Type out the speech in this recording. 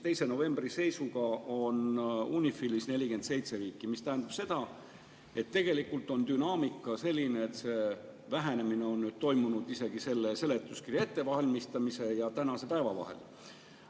2. novembri seisuga on UNIFIL-is 47 riiki, mis tähendab seda, et tegelikult on dünaamika selline, et vähenemine on toimunud nüüd isegi selle seletuskirja ettevalmistamise ja tänase päeva vahel.